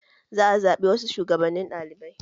Za a zaɓi wasu shugabannin ɗaliɓai